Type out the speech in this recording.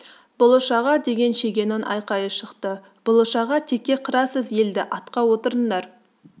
бұлыш аға деген шегенің айқайы шықты бұлыш аға текке қырасыз елді атқа отырыңдар